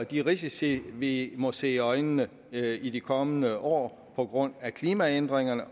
de risici vi må se i øjnene i de kommende år på grund af klimaændringerne